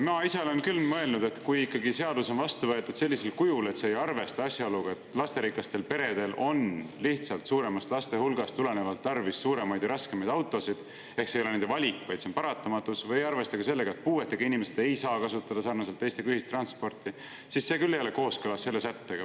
Ma ise olen küll mõelnud, et kui seadus on vastu võetud ikkagi sellisel kujul, et see ei arvesta asjaoluga, et lasterikastel peredel on lihtsalt suuremast laste hulgast tulenevalt tarvis suuremaid ja raskemaid autosid – see ei ole nende valik, vaid see on paratamatus –, või ei arvesta sellega, et puuetega inimesed ei saa kasutada sarnaselt teistega ühistransporti, siis see ei ole kooskõlas selle sättega.